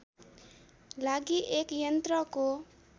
लागि एक यन्त्रको